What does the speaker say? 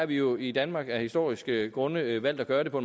vi jo i danmark af historiske grunde valgt at gøre det på